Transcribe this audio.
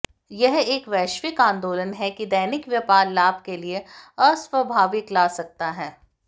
यह एक वैश्विक आंदोलन है कि दैनिक व्यापार लाभ के लिए अस्वाभाविक ला सकता है